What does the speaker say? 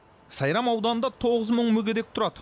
сайрам ауданында тоғыз мың мүгедек тұрады